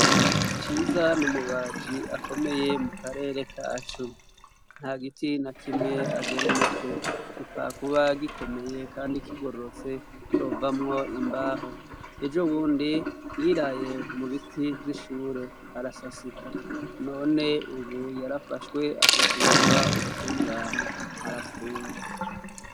CIZA numubaji akomeye mu karere kacu nta giti na kimwe agera umutwe gipfakuba gikomeye kandi kigororotse covamwo imbaho, ejo bundi yiraye mu biti vy'ishure arasasika none ubu yarafashwe ashikirizwa ubutungane arapfunzwe.